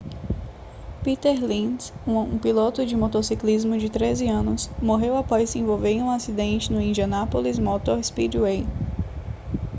peter lenz um piloto de motociclismo de 13 anos morreu após se envolver em um acidente no indianapolis motor speedway